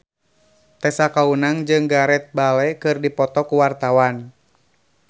Tessa Kaunang jeung Gareth Bale keur dipoto ku wartawan